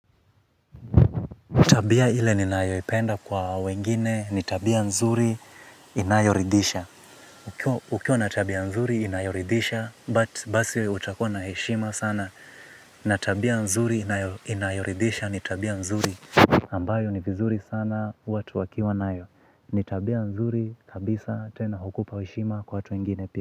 Utabia ile ni nayoipenda kwa wengine, nitabia nzuri inayoridisha. Ukiwa na tabia nzuri inayoridhisha basi utakuwa na heshima sana. Natabia nzuri inayoridisha, nitabia nzuri. Ambayo ni vizuri sana watu wakiwa nayo. Ni tabia nzuri kabisa tena hukupa heshima kwa watu wengine pia.